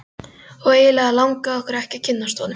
Og eiginlega langaði okkur ekki að kynnast honum.